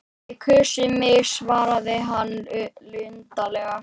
Þið kusuð mig svaraði hann luntalega.